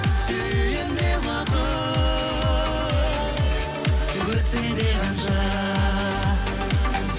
сүйемін де уақыт өтсе де қанша